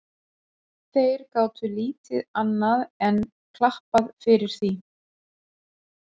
Þeir gátu lítið annað enn klappað fyrir því.